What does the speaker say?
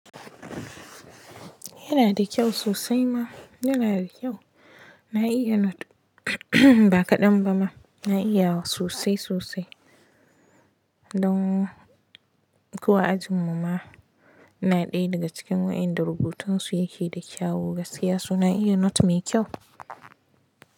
Yana da kyau sosai ma, yana da kyau. Na iya note, ba kaɗan ba ma, na iya wa sosai sosai. Don ko a ajin mu ma ina ɗaya daga cikin wa'inda rubutun su yake da kyau gaskiya, so na iya note mai kyau.